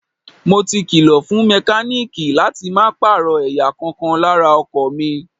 Mo ti kìlọ̀ fún mẹkáníìkì láti máa pààrọ̀ ẹ̀yà kọ̀ọ̀kan lára ọkọ̀ mi.